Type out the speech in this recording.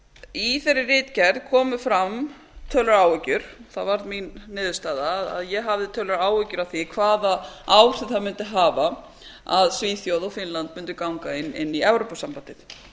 í þeirri ritgerð komu fram töluverðar áhyggjur það varð mín niðurstaða að ég hafði töluverðar áhyggjur af því hvaða áhrif það mundi hafa að svíþjóð og finnland mundi ganga inn í evrópusambandið